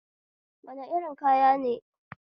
Wane irin kayan makaranta ne makarantu kuɗi ke amfani dashi?